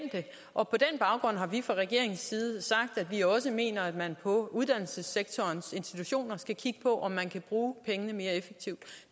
og på den baggrund har vi fra regeringens side sagt at vi også mener at man på uddannelsessektorens institutioner skal kigge på om man kan bruge pengene mere effektivt